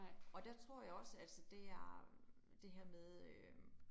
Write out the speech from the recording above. Og der tror jeg også, altså det er det her med øh